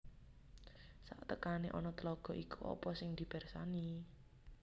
Satekane ana tlaga iku apa sing dipersani